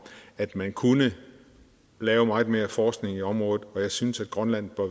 at man kunne lave meget mere forskning i området og jeg synes at grønland bør